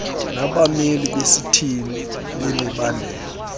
nabameli besithili bemibandela